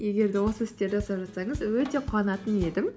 егер де осы істерді жасап жатсаңыз өте қуанатын едім